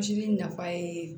nafa ye